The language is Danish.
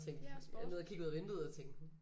Ja sport